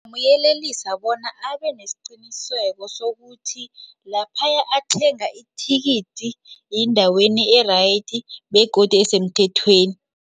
Ngingamyelelisa bona abe nesiqiniseko sokuthi lapha athenga ithikithi yindaweni e-right begodu esemthethweni.